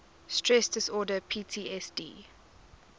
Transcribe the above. stress disorder ptsd